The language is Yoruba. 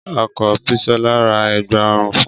Ọkọ Bisola ra Ẹ̀gbá ọrùn fun